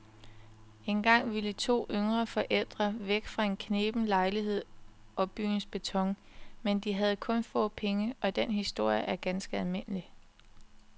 Engang ville to yngre forældre væk fra en kneben lejlighed og byens beton, men de havde kun få penge, og den historie er ganske almindelig.